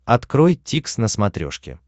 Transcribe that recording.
открой дтикс на смотрешке